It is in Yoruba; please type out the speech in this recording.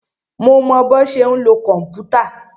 Mo mọ bọ́ ṣe ń lo kòmpútà.